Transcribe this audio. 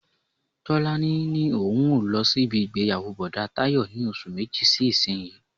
Tọ́lání ní òun yóò lọ sí ibi ìgbéyàwó Bọ̀dá Tayọ ní oṣù méjì sí isiyi.